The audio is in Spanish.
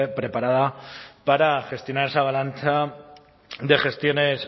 preparada para gestionar esa avalancha de gestiones